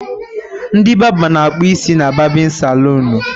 Ndị barba na akpụ isi na barbịn salụn.